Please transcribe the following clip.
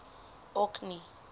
orkney